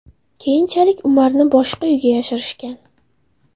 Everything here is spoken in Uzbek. Keyinchalik Umarni boshqa uyga yashirishgan.